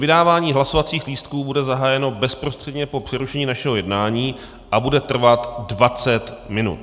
Vydávání hlasovacích lístků bude zahájeno bezprostředně po přerušení našeho jednání a bude trvat 20 minut.